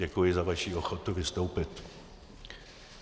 Děkuji za vaši ochotu vystoupit.